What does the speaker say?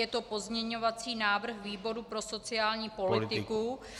Je to pozměňovací návrh výboru pro sociální politiku.